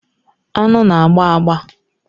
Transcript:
Aṅụ na-agba agba.